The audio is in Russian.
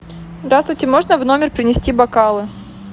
здравствуйте можно в номер принести бокалы